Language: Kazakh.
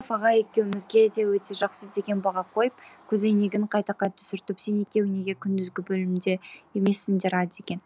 сағымбаев ағай екеуімізге де өте жақсы деген баға қойып көз әйнегін қайта қайта сүртіп сен екеуің неге күндізгі бөлімде емессіңдер а деген